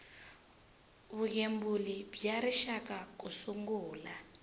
vugembuli bya rixaka ku sungula